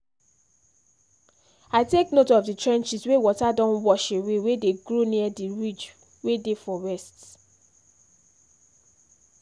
i take note of the trenches wey water don wash away wey dey grow near the ridge wey dey for west